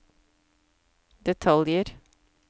detaljer